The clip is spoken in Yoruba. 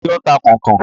Ta ni ó ń ta kọ̀nkọ̀n?